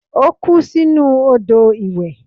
Ó kú sinú odò ìwẹ̀.